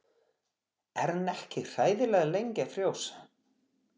Er hann ekki hræðilega lengi að frjósa?